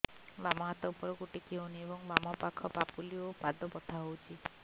ବାମ ହାତ ଉପରକୁ ଟେକି ହଉନି ଏବଂ ବାମ ପାଖ ପାପୁଲି ଓ ପାଦ ବଥା ହଉଚି